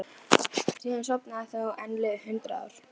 Fæ aldrei að vita hvar vinur minn gengur.